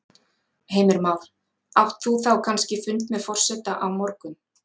Heimir Már: Átt þú þá kannski fund með forseta á morgun?